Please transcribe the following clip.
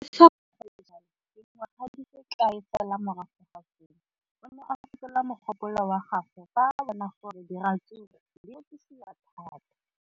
Le fa go le jalo, dingwaga di se kae fela morago ga seno, o ne a fetola mogopolo wa gagwe fa a bona gore diratsuru di rekisiwa thata.